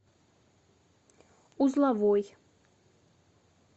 узловой